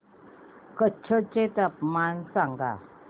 कच्छ चे तापमान सांगा